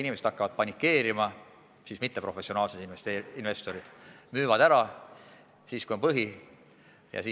Inimesed hakkavad paanitsema ja mitteprofessionaalsed investorid otsustavad müüa, kui on põhi käes.